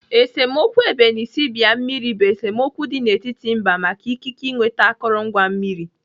Esemokwu ebenisibia mmiri bụ esemokwu dị n'etiti mba maka ikike ịnweta akụrụngwa mmiri.